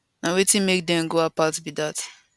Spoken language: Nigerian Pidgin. na wetin make dem go apart be dat